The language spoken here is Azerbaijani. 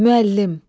Müəllim.